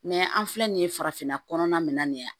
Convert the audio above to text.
an filɛ nin ye farafinna kɔnɔna min na yan